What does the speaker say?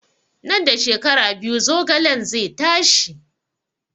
Nan da shekara biyu zogalen zai tashi